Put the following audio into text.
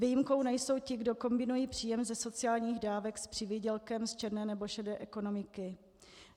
Výjimkou nejsou ti, kdo kombinují příjem ze sociálních dávek s přivýdělkem z černé nebo šedé ekonomiky.